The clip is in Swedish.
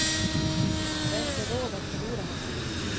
Vi har inte råd att förlora honom.